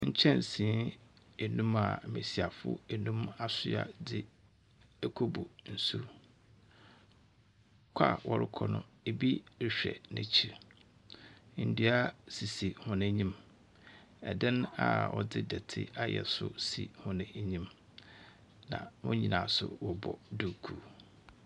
Nkyɛsee nnum a mmesiyafo nnum asowa de rekɔbu nsu. Kɔ a wɔrekɔ no ebi rehwɛ n n’ekyir. Nnua sisi wɔn enyim. ℇdan a wɔde dɔte ayɛ nso so wɔn enyim.